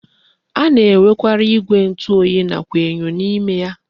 A na-enwekwara igwe ntu oyi nakwa enyo n'ime ya.